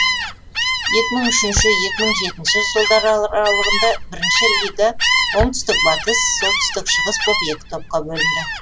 екі мың үшінші екі мың жетінші жылдар аралығында бірінші лига оңтүстік батыс солтүстік шығыс боп екі топқа бөлінді